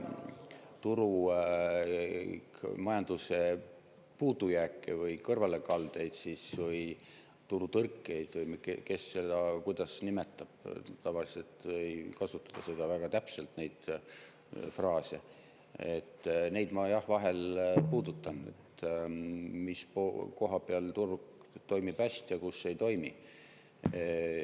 Turumajanduse puudujäägid, kõrvalekalded või turutõrked, kes kuidas seda nimetab – tavaliselt ma ei kasutata väga täpselt neid fraase, jah, vahel puudutan, kus turg toimib hästi ja kus ei toimi.